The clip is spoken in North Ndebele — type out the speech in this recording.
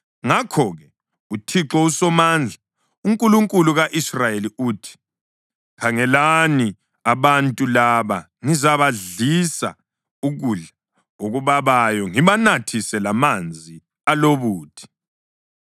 Ngakho-ke, uThixo uSomandla, uNkulunkulu ka-Israyeli uthi: “Khangelani, abantu laba ngizabadlisa ukudla okubabayo ngibanathise lamanzi alobuthi.